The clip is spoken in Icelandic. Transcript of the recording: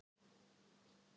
Ár í dag.